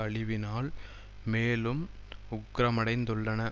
அழிவினால் மேலும் உக்கிரமடைந்துள்ளன